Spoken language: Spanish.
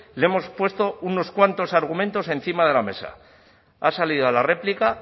le hemos puesto unos cuantos argumentos encima de la mesa ha salido a la réplica